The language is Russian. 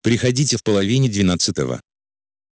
приходите в половине двенадцатого